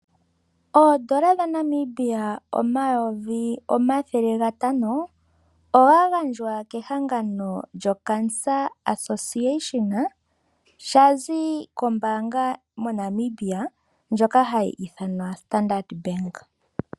Oodola dhaNamibia omayovi omathele gatano oga gandjwa kehangano lyoCancer Association sha zi kombaanga moNamibia ndjoka hayi ithanwa Standard Bank.